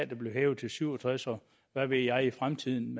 der bliver hævet til syv og tres og hvad ved jeg i fremtiden